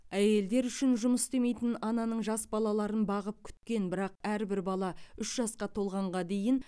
әйелдер үшін жұмыс істемейтін ананың жас балаларын бағып күткен бірақ әрбір бала үш жасқа толғанға дейін